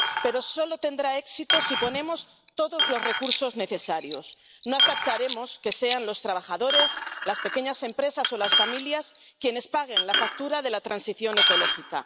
Pero solo tendrá éxito si ponemos todos los recursos necesarios. No aceptaremos que sean los trabajadores, las pequeñas empresas o las familias quienes paguen la factura de la transición ecológica.